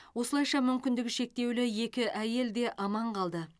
осылайша мүмкіндігі шектеулі екі әйел де аман қалды